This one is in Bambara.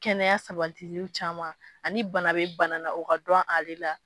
Kɛnɛya sabatili caman ani bana bɛ bana la o ka dɔn ale la.